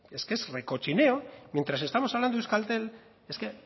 es que es recochineo mientras estamos hablando de euskaltel es que